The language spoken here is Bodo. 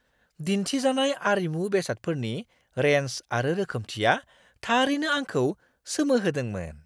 दिन्थिजानाय आरिमु बेसादफोरनि रेन्ज आरो रोखोमथिया थारैनो आंखौ सोमोहोदोंमोन!